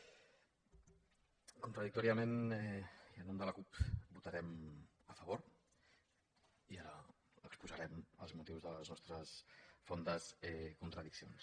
contradictòriament i en nom de la cup hi votarem a favor i ara exposarem els motius de les nostres fondes contradiccions